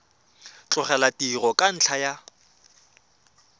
tlogela tiro ka ntlha ya